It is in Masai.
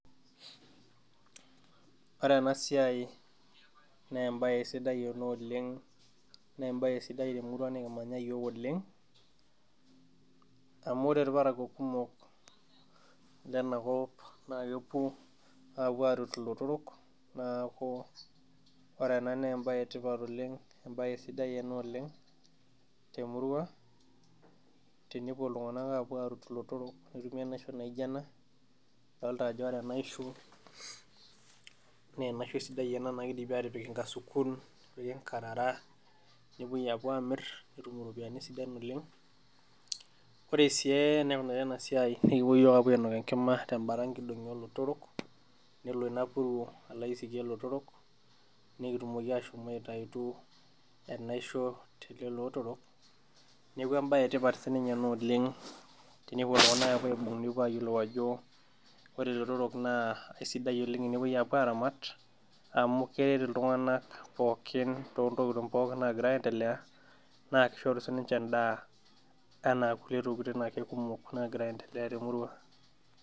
Ore ena siai naa embae sidai ena oleng naa ebae sidai temurua nikimanya iyiook oleng, amu ore irparakuo kumok Lena kop naa kepuo apuo arut ilotorok neeku, ore ena naa ebae etipat oleng, ebae, sidai ena oleng temurua tenepuo iltunganak aapuo arut ilotorok netumi enaisho naijo ena, idolta ajo ore enaisho naa enaisho sidai ena naa kidimi aatipik nkasukun, nepiki nkarara nepuoi aapuo amir, nepiki nkarara sidan oleng, pre sii eneikunari ena siai, ekipuo iyiook aapuo ainok enkima te Bata nkidongi oolotorok, nelo Ina puruo alo aisikie ilotorok, netumoki ashomo aitayitu enaisho telelo otorok, neeku embae etipat sii ninye ena oleng, tenepuo iltunganak nepuo aayiolou ajp ore ilotorok kisidai oleng tenepuoi aaramat amu keret iltunganak pookin, too ntokitin pookin naagira aendelea, naa kishori sii ninche edaa ana akule tokitin ake kumok nagira aendelea temurua.